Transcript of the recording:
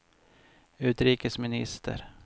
utrikesminister